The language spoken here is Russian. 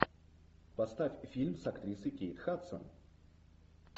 поставь фильм с актрисой кейт хадсон